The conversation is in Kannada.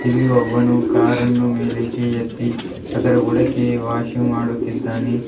ಇಲ್ಲಿ ಒಬ್ಬನು ಕಾರನ್ನು ಮೇಲೆಕ್ಕೆ ಎತ್ತಿ ಅದರ ಬುಡಕ್ಕೆ ವಾಷ್ ಇಂಗ್ ಮಾಡುತ್ತಿದ್ದಾನೆ.